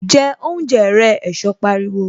Jẹ oúnjẹ rẹ! Ẹ̀sọ́ pariwo